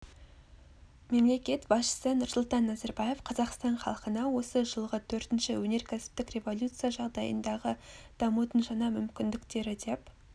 мемлекет басшысы нұрсұлтан назарбаев қазақстан халқына осы жылғы төртінші өнеркәсіптік революция жағдайындағы дамудың жаңа мүмкіндіктері деп